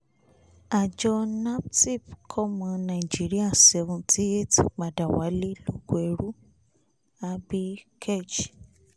àjọ naptip kọ́mọ nàìjíríà 78 padà wálé lóko ẹrú abikej